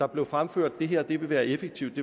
blev fremført at det her vil være effektivt